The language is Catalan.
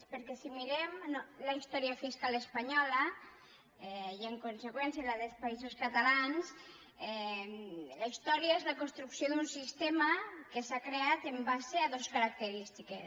perquè si mirem la història fiscal espanyola i en conseqüència la dels països catalans la història és la construcció d’un sistema que s’ha creat en base a dues ca racterístiques